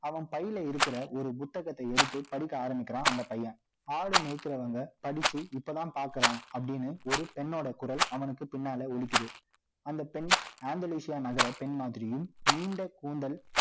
அவன் பையில இருக்கிற, ஒரு புத்தகத்தை எடுத்து, படிக்க ஆரம்பிக்கிறான், அந்த பையன். ஆடு மேய்க்கிறவங்க, படிச்சு, இப்பதான் பார்க்கிறேன், அப்படின்னு, ஒரு பெண்ணோட குரல், அவனுக்கு பின்னால ஒலிக்குது அந்தப் பெண் Angalisa நகர பெண் மாதிரியும், நீண்ட கூந்தல்